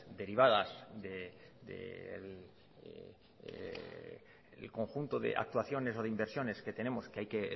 derivadas del conjunto de actuaciones o de inversiones que tenemos que hay que